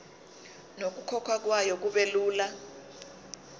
nokukhokhwa kwayo kubelula